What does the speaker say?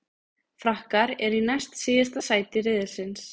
Frakkar eru í næst síðasta sæti riðilsins.